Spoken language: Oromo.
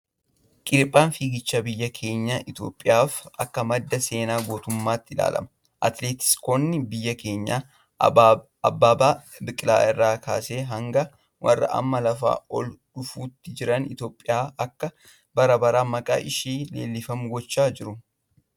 Qiriphaa fiigichaa biyya keenya Itoophiyaaf akka madda seenaa gootummaatti ilaalama. Atileetiksootni biyya keenyaa, Abbabee Biqilaa irraa kaasee hanga warra amma lafaa ol dhufootti jiran Itoophiyaan akka bara baraan maqaan ishee leellifamu gochaa jiru.